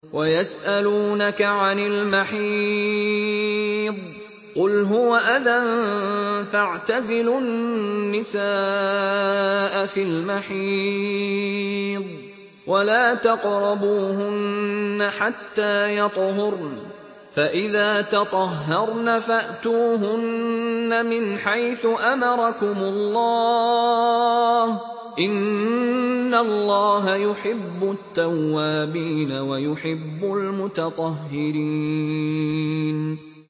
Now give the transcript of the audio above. وَيَسْأَلُونَكَ عَنِ الْمَحِيضِ ۖ قُلْ هُوَ أَذًى فَاعْتَزِلُوا النِّسَاءَ فِي الْمَحِيضِ ۖ وَلَا تَقْرَبُوهُنَّ حَتَّىٰ يَطْهُرْنَ ۖ فَإِذَا تَطَهَّرْنَ فَأْتُوهُنَّ مِنْ حَيْثُ أَمَرَكُمُ اللَّهُ ۚ إِنَّ اللَّهَ يُحِبُّ التَّوَّابِينَ وَيُحِبُّ الْمُتَطَهِّرِينَ